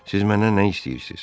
Siz məndən nə istəyirsiz?